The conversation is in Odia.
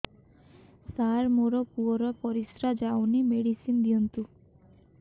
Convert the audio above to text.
ସାର ମୋର ପୁଅର ପରିସ୍ରା ଯାଉନି ମେଡିସିନ ଦିଅନ୍ତୁ